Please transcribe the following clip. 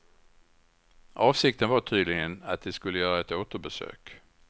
Avsikten var tydligen att de skulle göra ett återbesök.